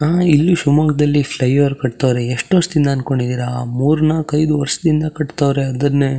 ನಮ್ಮ ಇಲ್ಲಿ ಶಿಮೊಗ್ಗದಲ್ಲಿ ಫ್ಲೈಓವರ್ ಕಟ್ಟವ್ರೆ ಯೆಸ್ಟ್ ವರ್ಷದಿಂದ ಅನ್ಕೊಂಡಿದೀರಾ ಮೂರ್ ನಾಕ್ ಐದ್ ವರ್ಷದಿಂದ ಕಟ್ಟಹ್ವರೇ ಅದ್ರೇನೇ --